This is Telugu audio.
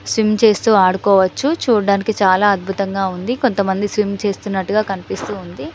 స్విమ్ చేస్తూ ఆడుకోవచ్చు చూడడానికి చాల అద్భుతంగా ఉంది కొంత మంది స్విమ్ చేస్తున్నట్టుగా కనిపిస్తుంది.